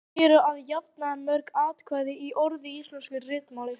Frekara lesefni: Hvað eru að jafnaði mörg atkvæði í orði í íslensku ritmáli?